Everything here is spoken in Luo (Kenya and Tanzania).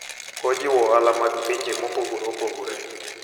Ojiwo ohala mag pinje mopogore opogore.